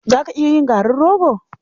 Za ka iya yin garin rogo?